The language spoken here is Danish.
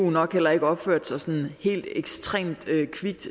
nok heller ikke opførte sig sådan helt ekstremt kvikt